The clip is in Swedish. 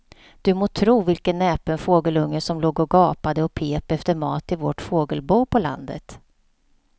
Du må tro vilken näpen fågelunge som låg och gapade och pep efter mat i vårt fågelbo på landet.